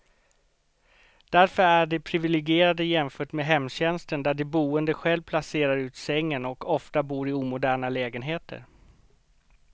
Därför är de priviligierade jämfört med hemtjänsten där de boende själv placerar ut sängen, och ofta bor i omoderna lägenheter.